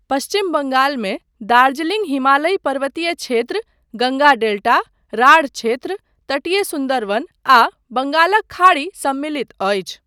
पश्चिम बङ्गालमे दार्जिलिङ्ग हिमालयी पर्वतीय क्षेत्र, गङ्गा डेल्टा, राढ़ क्षेत्र, तटीय सुन्दरवन आ बङ्गालक खाड़ी सम्मिलित अछि।